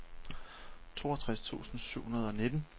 toogtres tusind syv hundrede og nitten